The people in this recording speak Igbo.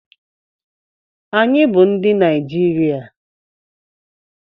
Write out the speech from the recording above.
Anyị bụ ndị Naijiria.